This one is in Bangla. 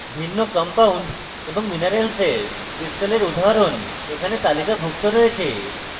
ভিন্ন compounds এবং minerals ক্রিস্টলের উদাহরণ এখানে তালিকাভুক্ত রয়েছে